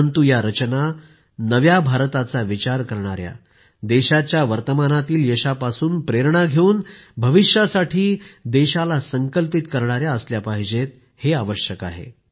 परंतु या रचना नव्या भारताचा विचार असणारी देशाच्या वर्तमानातील यशापासून प्रेरणा घेऊन भविष्यासाठी देशाला संकल्पित करणारी असली पाहिजेत हे आवश्यक आहे